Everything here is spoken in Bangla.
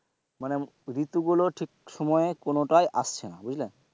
মানে ঋতু গুলো ঠিকসময় কোনোটাই আসছে না